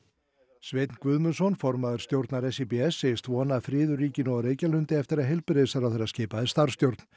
Sveinn Guðmundsson formaður stjórnar segist vona að friður ríki nú á Reykjalundi eftir að heilbrigðisráðherra skipaði starfsstjórn